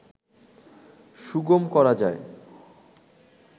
সুগম করা যায়